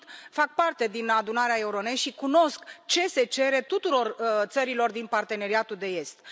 Fac parte din Adunarea Euronest și cunosc ce se cere tuturor țărilor din Parteneriatul estic.